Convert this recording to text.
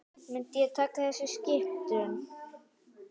Myndi ég taka þessum skiptum?